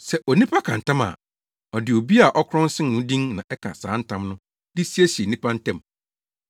Sɛ onipa ka ntam a, ɔde obi a ɔkorɔn sen no din na ɛka saa ntam no de siesie nnipa ntam.